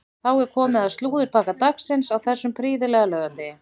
Þá er komið að slúðurpakka dagsins á þessum prýðilega laugardegi.